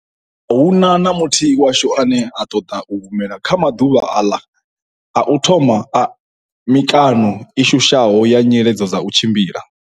A hu na na muthihi washu ane a ṱoḓa u humela kha maḓuvha aḽa a u thoma a mi kano i shushaho ya nyiledzo dza u tshimbila.